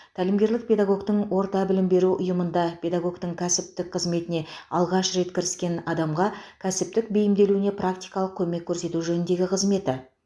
тәлімгерлік педагогтің орта білім беру ұйымында педагогтің кәсіптік қызметіне алғаш рет кіріскен адамға кәсіптік бейімделуіне практикалық көмек көрсету жөніндегі қызметі